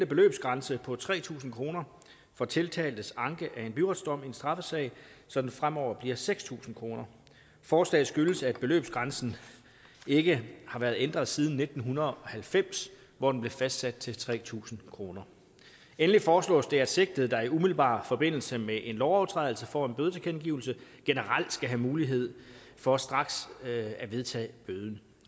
beløbsgrænse på tre tusind kroner for tiltaltes anke af en byretsdom i en straffesag så den fremover bliver seks tusind kroner forslaget skyldes at beløbsgrænsen ikke har været ændret siden nitten halvfems hvor den blev fastsat til tre tusind kroner endelig foreslås det at sigtede der i umiddelbar forbindelse med en lovovertrædelse får en bødetilkendegivelse generelt skal have mulighed for straks at vedtage bøden